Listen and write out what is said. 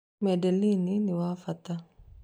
Madeleine nĩ wabata